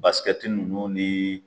Basikɛti nunnu ni